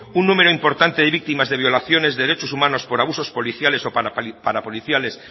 un número importante de víctimas de violaciones de derechos humanos por abusos policiales o parapoliciales